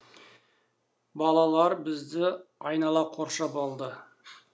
балалар бізді айнала қоршап алды